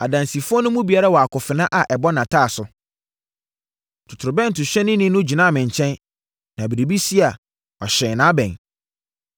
Adansifoɔ no mu biara wɔ akofena a ɛbɔ nʼataaso. Totorobɛntohyɛnni no gyinaa me nkyɛn, na biribi si a, wahyɛn nʼabɛn.